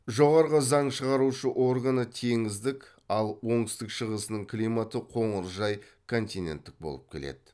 жоғары заң шығарушы органы теңіздік ал оңтүстік шығысының климаты қоңыржай континттік болып келеді